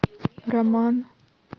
роман